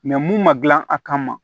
mun ma dilan a kama